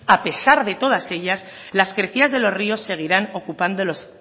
a pesar de todas ellas las crecidas de los ríos seguirán ocupando los